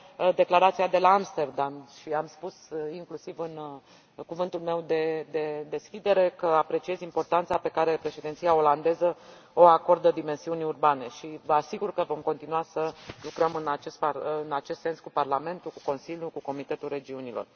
Declarația de la Amsterdam și am spus, inclusiv în cuvântul meu de deschidere, că apreciez importanța pe care președinția olandeză o acordă dimensiunii urbane și vă asigur că vom continua să lucrăm în acest sens cu Parlamentul, cu Consiliul, cu Comitetul Regiunilor.